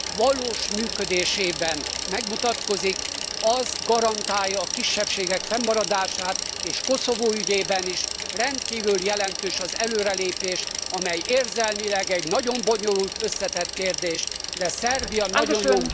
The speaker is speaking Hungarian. valós működésében megmutatkozik, az garantálja a kisebbségek fennmaradását, és Koszovó ügyében is rendkívül jelentős az előrelépés, amely érzelmileg egy nagyon bonyolult, összetett kérdés, de Szerbia nagyon jó úton halad